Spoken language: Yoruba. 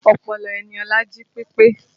Ọpọlọ Eniola jí pepe